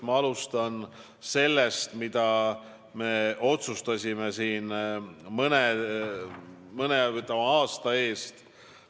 Ma alustan sellest, mida me otsustasime siin mõne aasta eest.